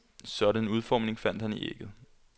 Sådan en udformning fandt han i ægget.